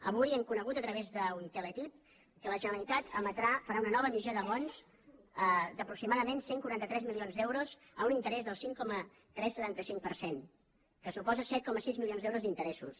avui hem conegut a través d’un teletip que la generalitat emetrà farà una nova emissió de bons d’aproximadament cent i quaranta tres milions d’euros a un interès del cinc coma tres cents i setanta cinc per cent que suposen set coma sis milions d’euros d’interessos